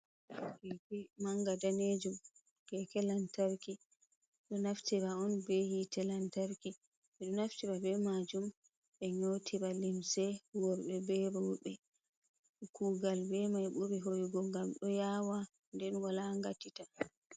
manga daneju ge kelantarki do, naftira on be hitelantarki bedo naftira be majum be nyotiva limse, worbe bebabe kugal be mai buri hoyugo gam do yawa denwolangatita.